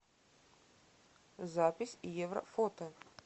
запись еврофото